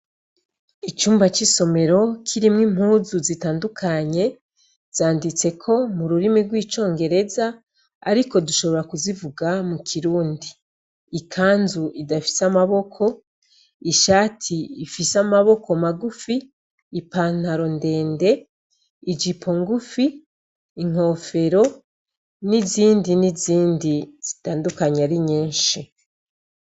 Icumba c'isomero kirimwo impuzu zitandukanye zanditseko mu rurimi rw'icongereza, ariko dushobora kuzivuga mu kirundi ikanzu idafise amaboko ishati ifise amaboko magufi ipantaro ndende ijipo ngufi inkofero n'izindi n'izindi zitandukanye ari nyenshi.